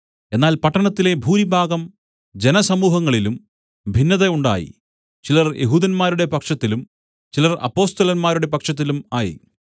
എന്നാൽ പട്ടണത്തിലെ ഭൂരിഭാഗം ജനസമൂഹങ്ങളിലും ഭിന്നത ഉണ്ടായി ചിലർ യെഹൂദന്മാരുടെ പക്ഷത്തിലും ചിലർ അപ്പൊസ്തലന്മാരുടെ പക്ഷത്തിലും ആയി